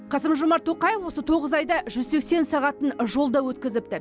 қасым жомарт тоқаев осы тоғыз айда жүз сексен сағатын жолда өткізіпті